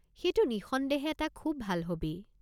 সেইটো নিঃসন্দেহে এটা খুব ভাল হ'বী।